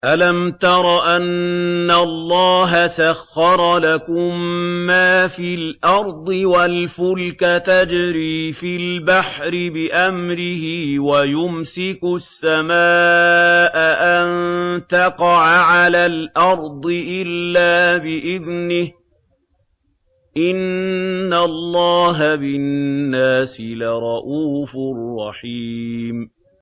أَلَمْ تَرَ أَنَّ اللَّهَ سَخَّرَ لَكُم مَّا فِي الْأَرْضِ وَالْفُلْكَ تَجْرِي فِي الْبَحْرِ بِأَمْرِهِ وَيُمْسِكُ السَّمَاءَ أَن تَقَعَ عَلَى الْأَرْضِ إِلَّا بِإِذْنِهِ ۗ إِنَّ اللَّهَ بِالنَّاسِ لَرَءُوفٌ رَّحِيمٌ